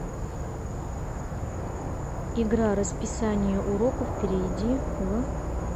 игра расписание уроков перейди в